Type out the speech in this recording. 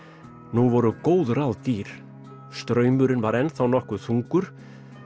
nú voru góð ráð dýr straumurinn var ennþá nokkuð þungur